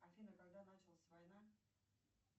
афина когда началась война